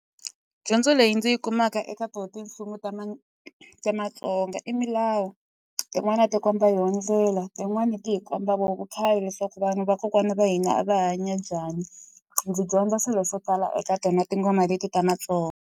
Dyondzo leyi ndzi yi kumaka eka tona ti mfumo ta ta matsonga i milawu. Tin'wani a ti komba yona ndleal, tin'wani ti hi komba vona vukhale leswaku vanhu vakokwani va hina va hanya njhani. Ndzi dyondza swilo swo tala eka tona tinghoma leti ta matsonga.